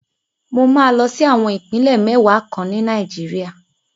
Mo máa lọ sí àwọn Ìpínlẹ̀ mẹ́wàá kan ní Nàìjíríà.